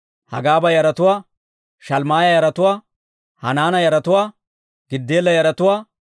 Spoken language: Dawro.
Hanaana yaratuwaa, Giddeela yaratuwaa, Gahaara yaratuwaa,